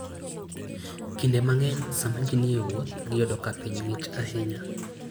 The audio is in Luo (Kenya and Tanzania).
Kinde mang'eny, sama ji ni e wuoth, giyudo ka piny ng'ich ahinya.